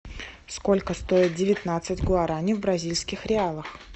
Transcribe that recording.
сколько стоит девятнадцать гуараней в бразильских реалах